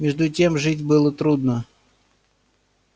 между тем жить было трудно